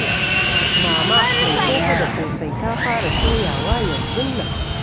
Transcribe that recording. Mama mai koko da ƙosai ta fara suya wa yanzun nan.